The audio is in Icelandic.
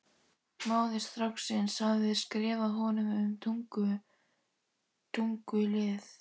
Móðir stráksins hafði skrifað honum um tunglið.